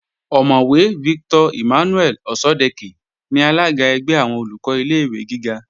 Ọ̀mọ̀wẹ̀ Victor Emmanuel Òṣọ́dẹkẹ́ ni alága ẹgbẹ́ àwọn Olùkọ́ ilé-ìwé gíga